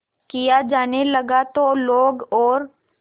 किया जाने लगा तो लोग और